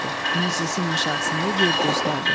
Məclisin aşağısında yer göstərdi.